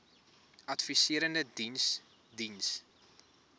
adviserende diens diens